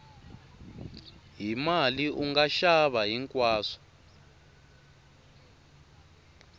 hi mali unga xava hinkwaswo